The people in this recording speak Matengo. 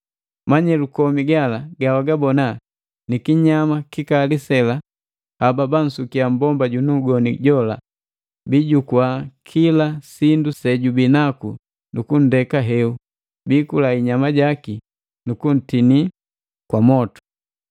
Manyelu komi gala gawagabona ni kinyama kikali sela haba bansukila mmbomba junu ugoni jola, bijukua kila sindu sejubii naku nu kundeka heu, biikula inyama jaki nu kuntinii kwa mwotu.